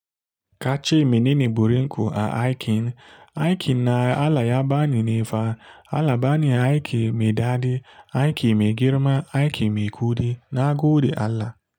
Kace minene burin ku a aikin? Aikin na Allah ya bani ne fa, Allah bani aikin me daɗi, aikin me girma, aikin me kuɗi na gode Allah.